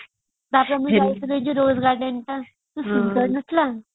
ତାପରେ ଆମେ ଯାଇଥିଲେ ଯୋଉ rail garden ଟା ସୁନ୍ଦର ନଥିଲା